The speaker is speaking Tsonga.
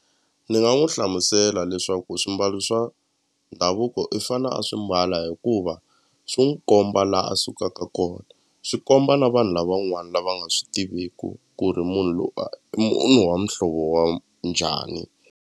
Ni nga n'wu hlamusela leswaku swimbalo swa ndhavuko i fane a swi mbala hikuva swi n'wi komba la a sukaka kona swi komba na vanhu lavan'wana lava nga swi tiveku ku ri munhu loyi i munhu wa muhlovo wa njhani.